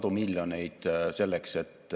Ning huvi ettevõtete ja ülikoolide koostööks on suur.